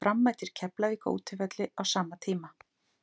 Fram mætir Keflavík á útivelli á sama tíma.